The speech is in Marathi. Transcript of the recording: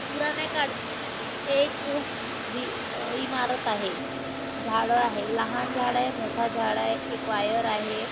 पुराणे काळची एक इमारत आहे झाड आहे लहान झाडय मोठ झाडय एक वायर आहे.